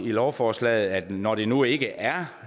lovforslaget når det nu ikke er